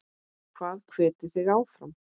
Hvað hvetur þig áfram?